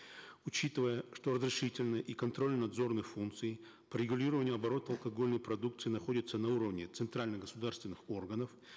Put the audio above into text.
учитывая что разрешительные и контрольно надзорные функции по регулированию оборота алкогольной продукции находятся на уровне центральных государственных органов